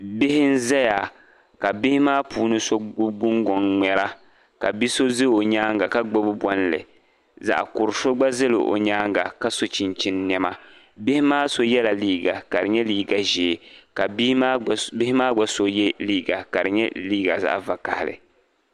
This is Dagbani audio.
Bihi n ʒɛya ka bi so gbubi gungoŋ n ŋmɛra ka biso ʒɛ o nyaanga ka gbubi bolli zaɣkuri so gba ʒɛla o nyaanga ka so chinchin niɛma so yɛla liiga ʒee ka so yɛ liiga vakaɣili